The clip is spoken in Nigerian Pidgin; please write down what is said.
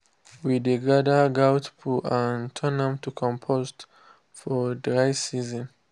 we dey gather goat poo and turn am to compost for dry season.